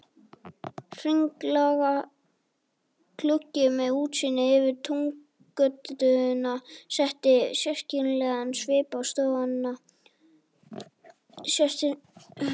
Hringlaga gluggi með útsýni yfir Túngötuna setti sérkennilegan svip á stofuna.